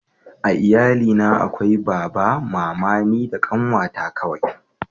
a iyali na akwai baba mama ni da ƙanwa ta kawai